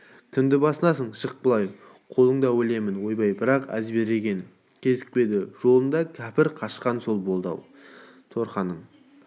кімді басынасың шық былай қолыңда өлемін ойбай бірақ әзберген кезікпеді жолында кәпір қашқан сол болды-ау торқаның